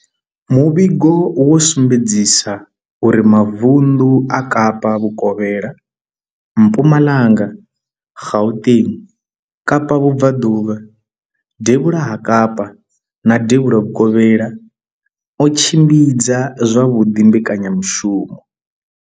Muvhigo wo sumbedzisa uri mavunḓu a Kapa vhukovhela, Mpumalanga, Gauteng, Kapa vhubvaḓuvha, devhula ha Kapa na devhula vhukovhela o tshimbidza zwavhuḓi mbekanyamushumo.